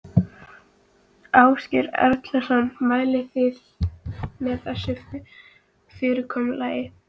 Ásgeir Erlendsson: Mælið þið með þessu fyrirkomulagi?